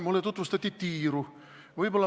Mulle tutvustati tiiru.